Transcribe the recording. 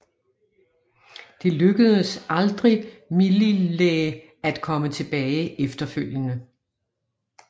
Det lykkedes aldrig Myllylä at komme tilbage efterfølgende